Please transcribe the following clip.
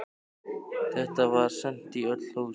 Þetta var sent í öll hús!